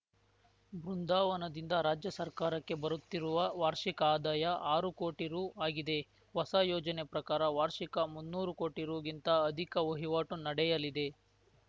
ಬೃಂದಾವನದಿಂದ ರಾಜ್ಯ ಸರ್ಕಾರಕ್ಕೆ ಬರುತ್ತಿರುವ ವಾರ್ಷಿಕ ಆದಾಯ ಆರು ಕೋಟಿ ರು ಆಗಿದೆ ಹೊಸ ಯೋಜನೆ ಪ್ರಕಾರ ವಾರ್ಷಿಕ ಮುನ್ನೂರು ಕೋಟಿ ರುಗಿಂತ ಅಧಿಕ ವಹಿವಾಟು ನಡೆಯಲಿದೆ